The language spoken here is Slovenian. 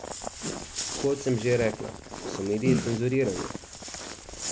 Kot sem že rekla, so mediji cenzurirani.